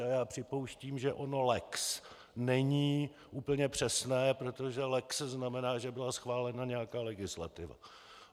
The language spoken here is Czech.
A já připouštím, že ono lex není úplně přesné, protože lex znamená, že byla schválena nějaká legislativa.